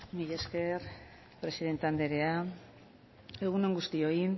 mila esker presidente anderea